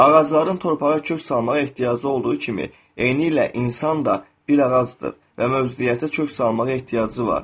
Ağacların torpağa kök salmağa ehtiyacı olduğu kimi, eynilə insan da bir ağacdır və mövcudiyyətə kök salmağa ehtiyacı var.